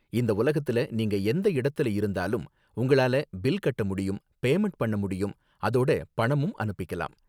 இந்த உலகத்துல நீங்க எந்த இடத்துல இருந்தாலும் உங்களால பில் கட்ட முடியும், பேமண்ட் பண்ண முடியும், அதோட பணமும் அனுப்பிக்கலாம்.